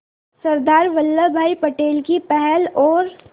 सरदार वल्लभ भाई पटेल की पहल और